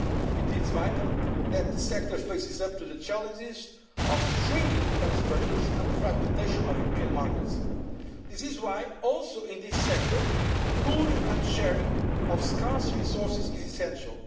area. It is vital that the sector faces up to the challenges of shrinking defence budgets and the fragmentation of European markets. That is why, in this sector also, the pooling and sharing of scarce resources is essential.